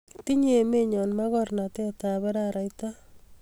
tinye emennyo magornatet ab araraita